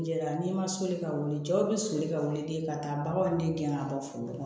Jɛla n'i ma soli ka wuli cɛw bi soli ka wuli ten ka taa baganw den gɛn ka bɔ foli la